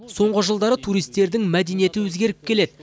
соңғы жылдары туристердің мәдениеті өзгеріп келеді